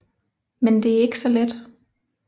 Men det er ikke så let